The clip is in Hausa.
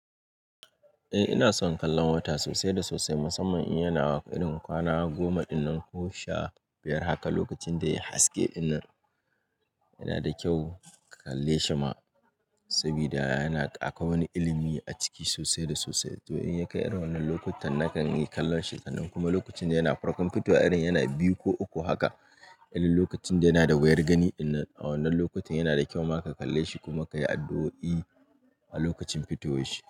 Eh ina son kallon wata sosai da sosai musamman in yana irin kwana goma dinnan ko sha biyar haka. Lokacin da ya haske ɗinnan yana da kyau ka kalle shi ma saboda yana akwai wani ilimi a ciki sosai da sosai. To in ya kai wannan lokutan nakan yi kallon shi, sannan kuma lokacin da yana farkon fitowa irin yana biyu ko uku haka, irin lokacin da yana da wuyar gani. Inna a wannan lokutan yana da kyau ma ka kalle shi kuma ka yi addu'o'i a lokacin fitowar shi.